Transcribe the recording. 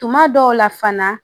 Tuma dɔw la fana